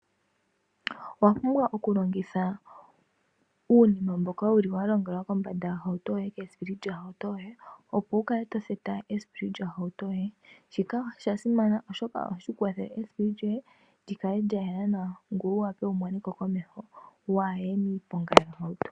Owapumbwa oku longitha uunima mboka wuli wa longelwa kombanda yohauto yoye kesipili lyo hauto yoye opo wukale to theta esipili lyo hauto yoye shika oshasimana oshoka ohashi kwathele esipili lyoye likale lya yela nawa ngoye wumoneko komeho kuye miiponga yoohauto.